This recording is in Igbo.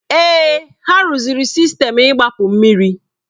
Èè, ha rụziri sistemu igbapu mmiri.